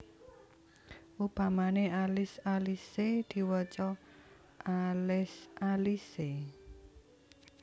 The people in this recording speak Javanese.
Upamane alis alise diwaca alés alise